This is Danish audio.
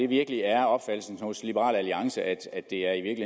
virkelig er opfattelsen hos liberal alliance at det er